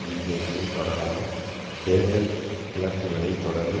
பிஜேபியின் தொடரான தேர்தல் இழப்புக்களைத் தொடர்ந்து